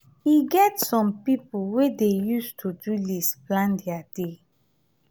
e get some pipo wey dey use to-do list plan their day.